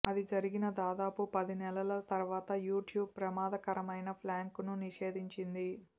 అది జరిగిన దాదాపు పది నెలల తర్వాత యూట్యూబ్ ప్రమాదకరమైన ప్రాంక్లను నిషేధించింది